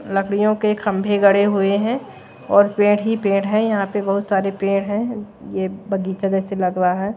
लकड़ियों के खंभे गड़े हुए हैं और पेड़ ही पेड़ हैं यहां पे बहुत सारे पेड़ हैं ये बगीचे जैसे लग रा है।